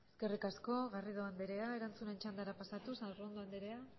eskerrik asko garrido andrea erantzuten txandara pasatuz arrondo andrea